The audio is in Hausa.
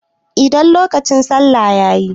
Idan lokacin salla yayi.